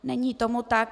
Není tomu tak.